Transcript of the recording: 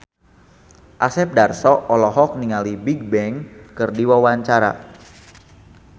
Asep Darso olohok ningali Bigbang keur diwawancara